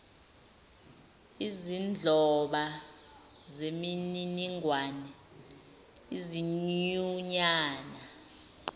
izinhloba zemininingwane izinyunyana